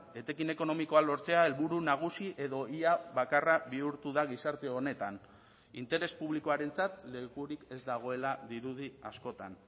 etekin ekonomikoa lortzea helburu nagusi edo ia bakarra bihurtu da gizarte honetan interes publikoarentzat lekurik ez dagoela dirudi askotan